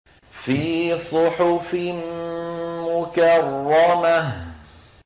فِي صُحُفٍ مُّكَرَّمَةٍ